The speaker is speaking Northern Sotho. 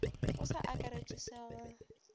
go sa akaretšwe se go